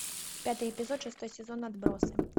пятый эпизод шестой сезон отбросы